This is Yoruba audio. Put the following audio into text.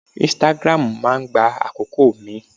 Instagram máa gba àkókò mi.